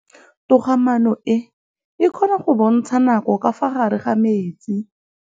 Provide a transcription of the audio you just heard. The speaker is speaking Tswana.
Toga-maanô e, e kgona go bontsha nakô ka fa gare ga metsi.